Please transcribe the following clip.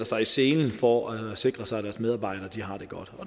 sig i selen for at at sikre sig at deres medarbejdere har det godt